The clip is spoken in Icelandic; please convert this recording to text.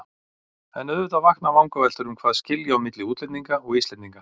En auðvitað vakna vangaveltur um hvað skilji á milli útlendinga og Íslendinga.